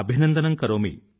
అభినందనం కరోమి